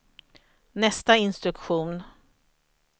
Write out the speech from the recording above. nästa instruktion